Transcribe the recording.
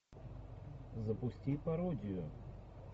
запусти пародию